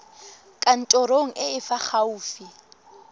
kantorong e e fa gaufi